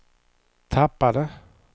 tappade